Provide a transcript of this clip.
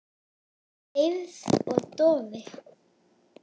Deyfð og doði.